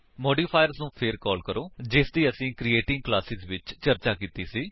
modifiers ਨੂੰ ਫੇਰ call ਕਰੋ ਜਿਸਦੀ ਅਸੀਂ ਕ੍ਰੀਏਟਿੰਗ ਕਲਾਸੇਸ ਵਿੱਚ ਚਰਚਾ ਕੀਤੀ ਸੀ